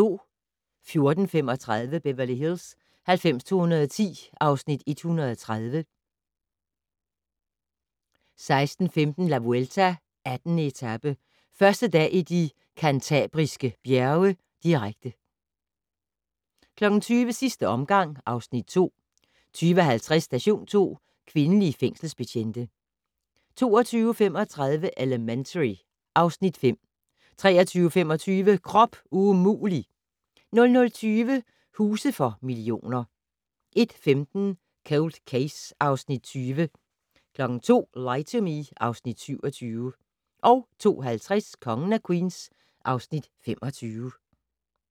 14:35: Beverly Hills 90210 (Afs. 130) 16:15: La Vuelta: 18. etape - første dag i De Cantabriske Bjerge, direkte 20:00: Sidste omgang (Afs. 2) 20:50: Station 2: Kvindelige fængselsbetjente 22:35: Elementary (Afs. 5) 23:25: Krop umulig! 00:20: Huse for millioner 01:15: Cold Case (Afs. 20) 02:00: Lie to Me (Afs. 27) 02:50: Kongen af Queens (Afs. 25)